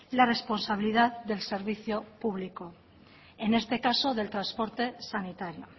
la responsabilidad del servicio público en este caso del transporte sanitario